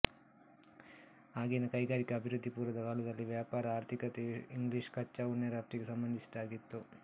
ಆಗಿನ ಕೈಗಾರಿಕಾ ಅಭಿವೃದ್ಧಿಪೂರ್ವದ ಕಾಲದಲ್ಲಿ ವ್ಯಾಪಾರಆರ್ಥಿಕತೆಯು ಇಂಗ್ಲಿಷ್ ಕಚ್ಚಾ ಉಣ್ಣೆ ರಫ್ತಿಗೆ ಸಂಬಂಧಿಸಿದ್ದಾಗಿತ್ತು